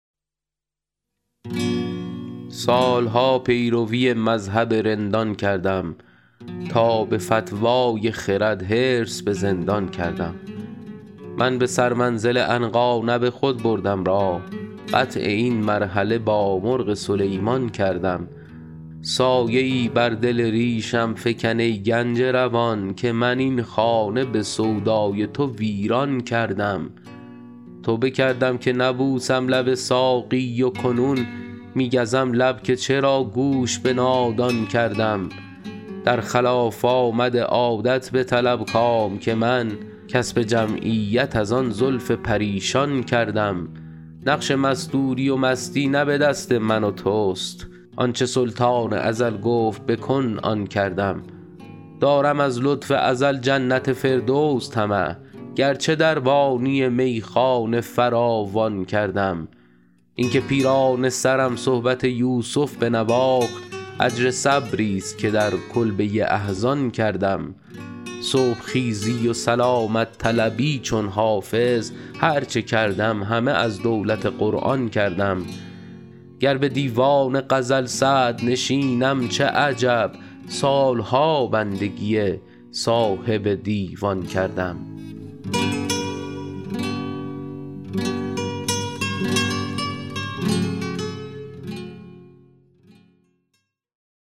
سال ها پیروی مذهب رندان کردم تا به فتوی خرد حرص به زندان کردم من به سرمنزل عنقا نه به خود بردم راه قطع این مرحله با مرغ سلیمان کردم سایه ای بر دل ریشم فکن ای گنج روان که من این خانه به سودای تو ویران کردم توبه کردم که نبوسم لب ساقی و کنون می گزم لب که چرا گوش به نادان کردم در خلاف آمد عادت بطلب کام که من کسب جمعیت از آن زلف پریشان کردم نقش مستوری و مستی نه به دست من و توست آن چه سلطان ازل گفت بکن آن کردم دارم از لطف ازل جنت فردوس طمع گرچه دربانی میخانه فراوان کردم این که پیرانه سرم صحبت یوسف بنواخت اجر صبریست که در کلبه احزان کردم صبح خیزی و سلامت طلبی چون حافظ هر چه کردم همه از دولت قرآن کردم گر به دیوان غزل صدرنشینم چه عجب سال ها بندگی صاحب دیوان کردم